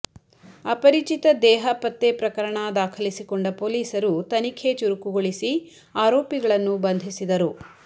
ಅಪರಿಚಿತ ದೇಹ ಪತ್ತೆ ಪ್ರಕರಣ ದಾಖಲಿಸಿಕೊಂಡ ಪೊಲೀಸರು ತನಿಖೆ ಚುರುಕುಗೊಳಿಸಿ ಆರೋಪಿಗಳನ್ನು ಬಂಧಿಸಿದರು